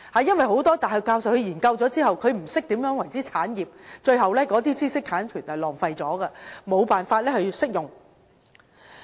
因為，很多大學教授在研究後，不懂何謂產業，最後知識產權便浪費了，無法運用。